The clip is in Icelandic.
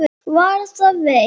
Var það veitt.